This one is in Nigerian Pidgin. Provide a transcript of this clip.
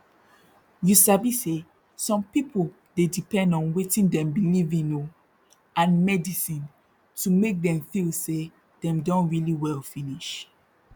you sabi say some pipu dey depend on wetin dem believe in oh and medisin to make dem feel say dem don really well finish